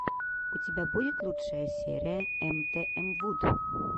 у тебя будет лучшая серия эмтээмвуд